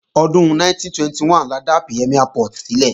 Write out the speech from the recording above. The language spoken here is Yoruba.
Ọdún 1921 la dá Premiere Port sílẹ̀